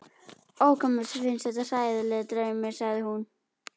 Ó, hvað mér finnst þetta hræðilegur draumur, sagði hún